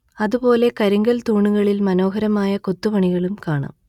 അതുപോലെ കരിങ്കൽ തൂണുകളിൽ മനോഹരമായ കൊത്തുപണികളും കാണാം